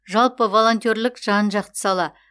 жалпы волонтерлік жан жақты сала